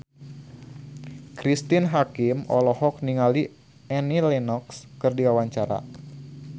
Cristine Hakim olohok ningali Annie Lenox keur diwawancara